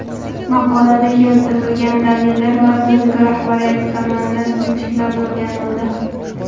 Maqolada keltirilgan dalillar vazirlik rahbariyati tomonidan sinchiklab o‘rganildi.